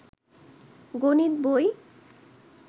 গনিত বই